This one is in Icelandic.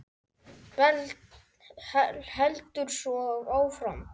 Heldur svo áfram: